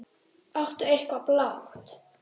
Áttu eitthvað blátt?